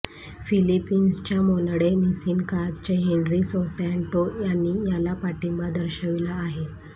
फिलीपिन्सच्या Monde Nissin कार्पचे Henry Sosanto यांनी याला पाठिंबा दर्शवला आहे